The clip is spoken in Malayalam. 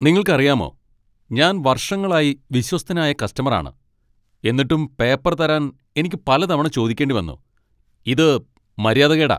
നിങ്ങൾക്കറിയാമോ, ഞാൻ വർഷങ്ങളായി വിശ്വസ്തനായ കസ്റ്റമർ ആണ്, എന്നിട്ടും പേപ്പർ തരാൻ എനിക്ക് പലതവണ ചോദിക്കേണ്ടി വന്നു. ഇത് മര്യാദകേടാ.